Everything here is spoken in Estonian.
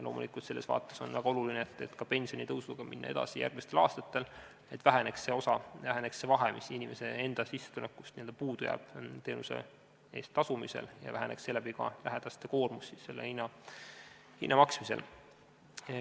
Loomulikult on selles vaates väga oluline minna pensionitõusuga edasi ka järgmistel aastatel, et väheneks see osa, see vahe, mis jääb inimese enda sissetulekust puudu teenuse eest tasumisel, ning seeläbi ka lähedaste koormus selle hinna maksmisel.